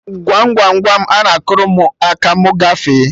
Gwam Gwam Gwam, ana akụrụ mụ aka ma mụ gafee